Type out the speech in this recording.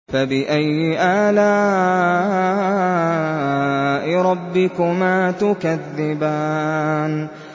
فَبِأَيِّ آلَاءِ رَبِّكُمَا تُكَذِّبَانِ